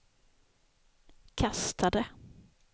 kastade